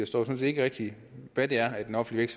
sådan set ikke rigtig hvad det er i den offentlige